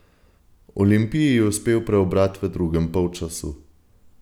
Olimpiji je uspel preobrat v drugem polčasu.